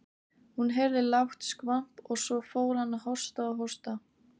Hún heyrði lágt skvamp og svo fór hann að hósta og hósta.